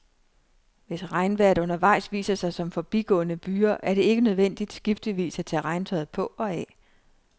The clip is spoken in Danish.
Hvis regnvejret undervejs viser sig som forbigående byger, er det ikke nødvendigt, skiftevis, at tage regntøjet på og af.